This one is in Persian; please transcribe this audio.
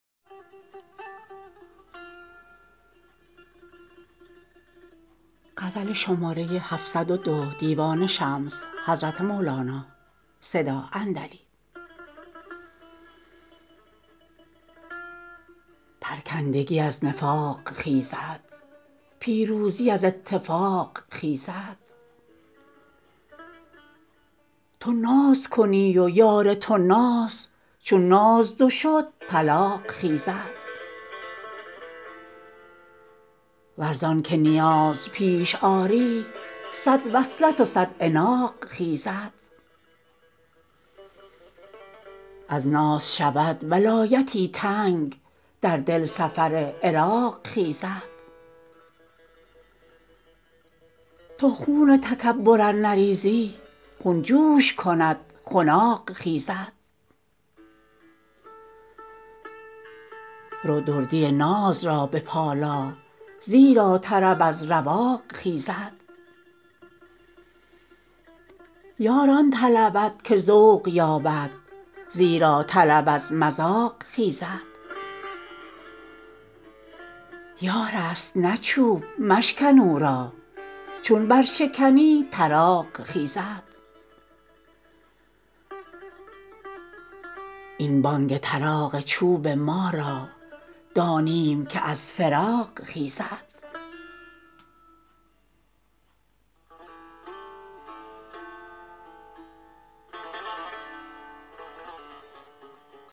پرکندگی از نفاق خیزد پیروزی از اتفاق خیزد تو ناز کنی و یار تو ناز چون ناز دو شد طلاق خیزد ور زان که نیاز پیش آری صد وصلت و صد عناق خیزد از ناز شود ولایتی تنگ در دل سفر عراق خیزد تو خون تکبر ار نریزی خون جوش کند خناق خیزد رو دردی ناز را بپالا زیرا طرب از رواق خیزد یار آن طلبد که ذوق یابد زیرا طلب از مذاق خیزد یارست نه چوب مشکن او را چون برشکنی طراق خیزد این بانگ طراق چوب ما را دانیم که از فراق خیزد